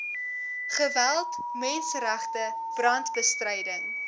geweld menseregte brandbestryding